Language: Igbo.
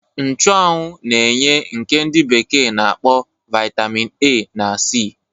Nchuanwu na-enye nke ndi bekee na-akpọ Vaitamin A na C.